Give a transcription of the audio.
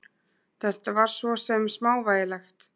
Þetta var svo sem smávægilegt.